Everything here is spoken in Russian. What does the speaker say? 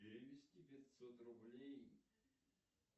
перевести пятьсот рублей